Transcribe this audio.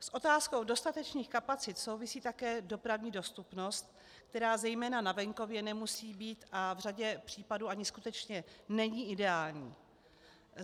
S otázkou dostatečných kapacit souvisí také dopravní dostupnost, která zejména na venkově nemusí být, a v řadě případů ani skutečně není, ideální.